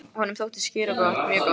Honum þótti skyr gott, mjög gott.